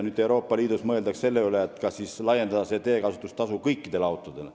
Euroopa Liidus mõeldakse selle peale, kas laiendada teekasutustasu kõikidele autodele.